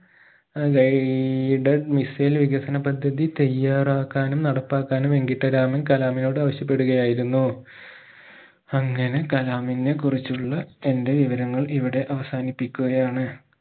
ഏർ guided missile വികസന പദ്ധതി തയ്യാറാക്കാനും നടപ്പാക്കാനും വെങ്കിട്ട രാമൻ കലാമിനോട് ആവിശ്യപെടുകയായിരുന്നു അങ്ങനെ കലാമിനെ കുറിച്ചുള്ള എന്റെ വിവരങ്ങൾ ഇവിടെ അവസാനിപ്പിക്കുകയാണ്